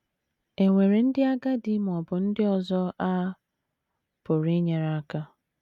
È nwere ndị agadi ma ọ bụ ndị ọzọ a pụrụ inyere aka?